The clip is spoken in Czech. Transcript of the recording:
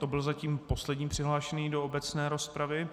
To byl zatím poslední přihlášený do obecné rozpravy.